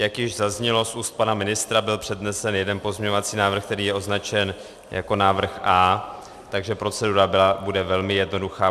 Jak již zaznělo z úst pana ministra, byl přednesen jeden pozměňovací návrh, který je označen jako návrh A, takže procedura bude velmi jednoduchá.